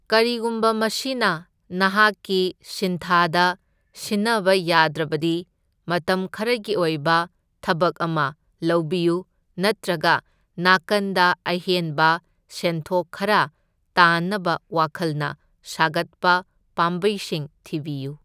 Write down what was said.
ꯀꯔꯤꯒꯨꯝꯕ ꯃꯁꯤꯅ ꯅꯍꯥꯛꯀꯤ ꯁꯤꯟꯊꯥꯗ ꯁꯤꯟꯅꯕ ꯌꯥꯗ꯭ꯔꯕꯗꯤ ꯃꯇꯝ ꯈꯔꯒꯤ ꯑꯣꯏꯕ ꯊꯕꯛ ꯑꯃ ꯂꯧꯕꯤꯌꯨ, ꯅꯠꯇ꯭ꯔꯒ ꯅꯥꯀꯟꯗ ꯑꯍꯦꯟꯕ ꯁꯦꯟꯊꯣꯛ ꯈꯔ ꯇꯥꯟꯅꯕ ꯋꯈꯜꯅ ꯁꯥꯒꯠꯄ ꯄꯥꯝꯕꯩꯁꯤꯡ ꯊꯤꯕꯤꯌꯨ꯫